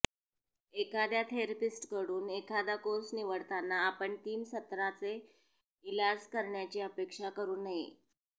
एखाद्या थेरपिस्टकडून एखादा कोर्स निवडताना आपण तीन सत्रांचे इलाज करण्याची अपेक्षा करू नये